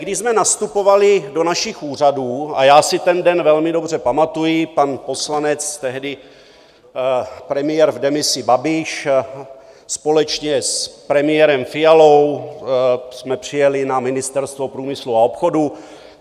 Když jsme nastupovali do našich úřadů, a já si ten den velmi dobře pamatuji, pan poslanec, tehdy premiér v demisi Babiš, společně s premiérem Fialou jsme přijeli na Ministerstvo průmyslu a obchodu.